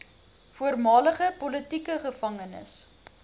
voormalige politieke gevangenes